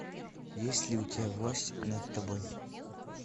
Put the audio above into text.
есть ли у тебя власть над тобой